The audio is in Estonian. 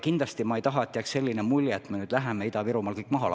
Kindlasti ma ei taha, et jääks selline mulje, et me nüüd läheme ja lammutame Ida-Virumaal kõik maha.